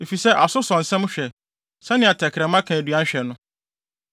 Efisɛ aso sɔ nsɛm hwɛ sɛnea tɛkrɛma ka aduan hwɛ no.